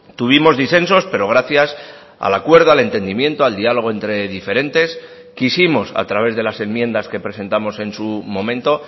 tuvimos disensos pero gracias al acuerdo al entendimiento al dialogo entre diferentes quisimos a través de las enmiendas que presentamos en su momento